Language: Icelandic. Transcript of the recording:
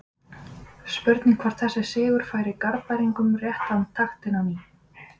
Spurning hvort þessi sigur færi Garðbæingum rétta taktinn á ný?